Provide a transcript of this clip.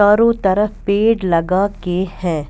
चारो तरफ पेड़ लगा के है।